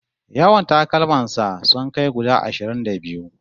Yawan takalman sa sun kai guda ashirin da biyu